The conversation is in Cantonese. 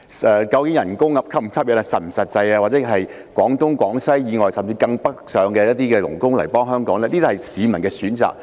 薪金是否實際，以至聘用廣東、廣西甚至更北面的傭工來港工作，是市民的選擇。